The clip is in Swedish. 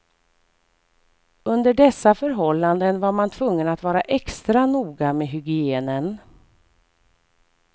Under dessa förhållanden var man tvungen att vara extra noga med hygienen.